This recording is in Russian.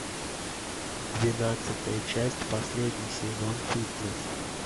двенадцатая часть последний сезон фитнес